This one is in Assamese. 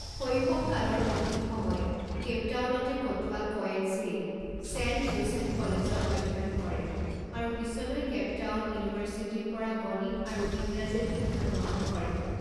শৈশৱ কালৰ অধিক সময় কেইপটাউনতে কটোৱা কয়েৎজেই ছেণ্ট জোচেফ কলেজত অধ্যয়ন কৰে আৰু পিছলৈ কেইপটাউন ইউনিভৰ্চিটিৰ পৰা গণিত আৰু ইংৰাজীৰ শিক্ষা গ্ৰহণ কৰে।